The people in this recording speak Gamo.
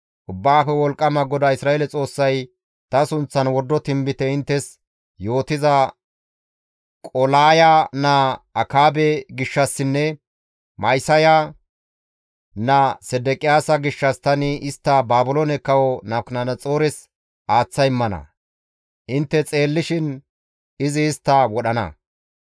Ubbaafe Wolqqama GODAA Isra7eele Xoossay ta sunththan wordo tinbite inttes yootiza Qolaaya naa Akaabe gishshassinne Ma7isaya naa Sedeqiyaasa gishshas tani istta Baabiloone Kawo Nabukadanaxoores aaththa immana; intte xeellishin izi istta wodhana.